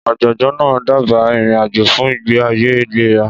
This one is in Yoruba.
Ọ̀jọ̀gbọ́n náà dábàá ìrìn-àjò fún ìgbé ayé ìlera.